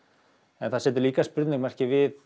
en það setur líka spurningamerki við